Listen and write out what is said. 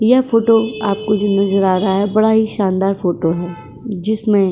यह फोटो आपको जो नजर आ रहा है बड़ा ही शानदार फोटो है जिसमें --